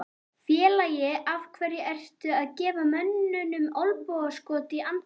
Félagi, af hverju ertu að gefa mönnum olnbogaskot í andlitið?